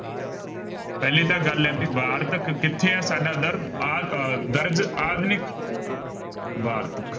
ਪਹਿਲੀ ਤਾਂ ਗੱਲ ਹੈ ਜੀ ਵਾਰਤਕ ਕਿੱਥੇ ਹੈ ਸਾਡਾ ਦਰ ਆ ਅਹ ਦਰਗ ਆਧੁਨਿਕ ਵਾਰਤਕ